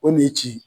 O de ye ci ye